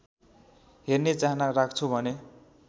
हेर्ने चाहना राख्छौ भने